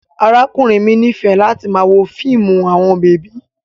Arakunrin mi nifẹ lati wo fiimu awọn bebi